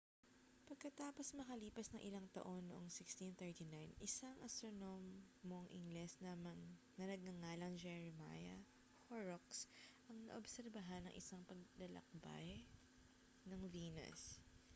pagkatapos makalipas ang ilang taon noong 1639 isang astronomong ingles na nagngangalang jeremiah horrocks ang naobserbahan ang isang paglalakbay ng venus